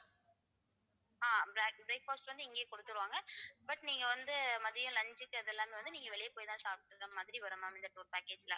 ஆஹ் black~ breakfast வந்து இங்கேயே கொடுத்திருவாங்க but நீங்க வந்து மதியம் lunch க்கு இது எல்லாமே வந்து நீங்க வெளியே போய்தான் சாப்பிடற மாதிரி வரும் ma'am இந்த tour packet ல